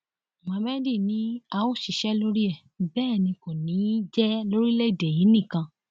muhammed ni a ó ṣiṣẹ lórí ẹ bẹẹ ni kò ní í jẹ lórílẹèdè yìí nìkan